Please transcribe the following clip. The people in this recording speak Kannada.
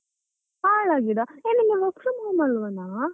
ಹಾಳಾಗಿದ, ಯೇ ನಿಂಗೆ work from home ಅಲ್ವನಾ.